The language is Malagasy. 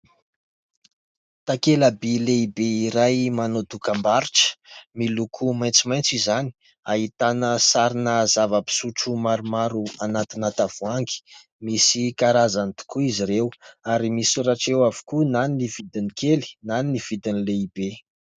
Takela-by lehibe iray manao dokam-barotra, miloko maitsomaitso izany, ahitana sarina zava-pisotro maromaro anatina tavoahangy. Misy karazany tokoa izy ireo ary misoratra eo avokoa na ny vidin'ny kely, na ny vidin'ny lehibe.